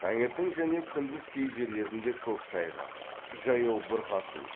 таңертең және күндіз кей жерлерінде көктайғақ жаяу бұрқасын